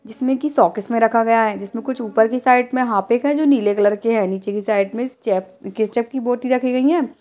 जिसमें कि शोकिस में रखा गया है जिसमें कुछ ऊपर की साइड में हार्पिक है जो नीले कलर की है नीचे कि साइड में स चेप्स केचप कि बोतल रखी गई हैं।